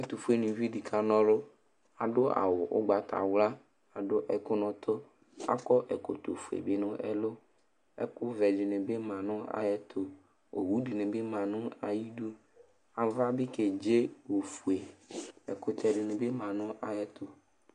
Ɛtʋfuenɩvi dɩ kana ɔlʋ Adʋ awʋ ʋgbatawla, adʋ ɛkʋ nʋ ʋtʋ Akɔ ɛkɔtɔfue bɩ nʋ ɛlʋ Ɛkʋvɛ dɩnɩ ma ayɛtʋ Owu dɩnɩ bɩ ma nʋ ayidu Ava bɩ kedze ofue Ɛkʋtɛ dɩnɩ bɩ ma nʋ ayɛtʋ